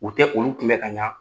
U tɛ olu kunbɛ ka ɲa